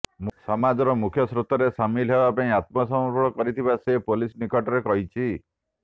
ସମାଜର ମୁଖ୍ୟ ସ୍ରୋତରେ ସାମିଲ ହେବା ପାଇଁ ଆତ୍ମସମର୍ପଣ କରିଥିବା ସେ ପୋଲିସ ନିକଟରେ କହିଛି